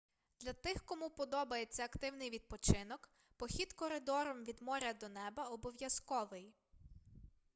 для тих кому подобається активний відпочинок похід коридором від моря до неба обов'язковий